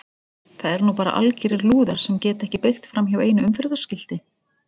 Það eru nú bara algerir lúðar sem geta ekki beygt framhjá einu umferðarskilti!